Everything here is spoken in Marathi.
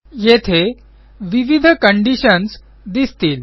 येथे विविध कंडिशन्स दिसतील